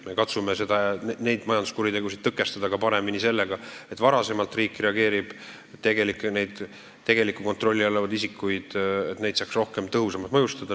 Me katsume majanduskuritegusid paremini tõkestada ka sellega, et riik reageerib varem, et kontrolli all olevaid isikuid saaks rohkem, tõhusamalt mõjutada.